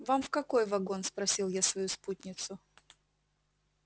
вам в какой вагон спросил я свою спутницу